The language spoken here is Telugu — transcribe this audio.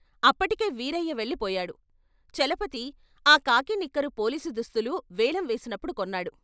అప్పటికే వీరయ్య వెళ్ళిపోయాడు చలపతి, ఆ కాకీ నిక్కరు పోలీసు దుస్తులు వేలం వేసినప్పుడు కొన్నాడు.